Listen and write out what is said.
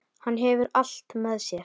Hann hefur allt með sér.